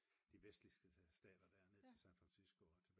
de vestlige stater der ned til San Fransisco